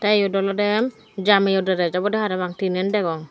tey eyot olodey jameyo dress obodey parapang teenen degong.